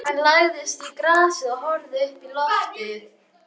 Hann lagðist í grasið og horfði uppí loftið.